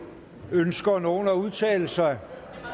ønsker nogen at udtale sig